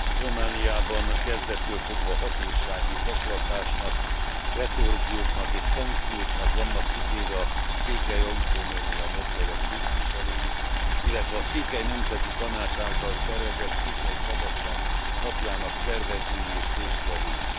Romániában kezdettől fogva hatósági zaklatásnak, retorzióknak és szankcióknak vannak kitéve a székely autonómiamozgalom képviselői, illetve a Székely Nemzeti Tanács által szervezett Székely Szabadság Napjának szervezői és résztvevői.